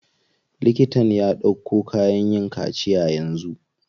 Liktan ya ɗauko kayan yin kaciya yanzu.